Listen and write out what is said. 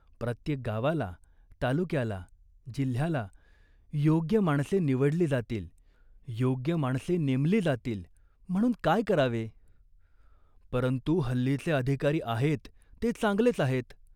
प्रत्येक गावाला, तालुक्याला, जिल्ह्याला योग्य माणसे निवडली जातील, योग्य माणसे नेमली जातील म्हणून काय करावे ?" "परंतु हल्लीचे अधिकारी आहेत ते चांगलेच आहेत.